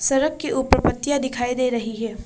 सड़क के ऊपर पत्तियां दिखाई दे रही है।